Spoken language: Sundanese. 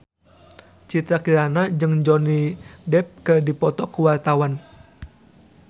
Citra Kirana jeung Johnny Depp keur dipoto ku wartawan